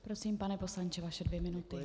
Prosím, pane poslanče, vaše dvě minuty.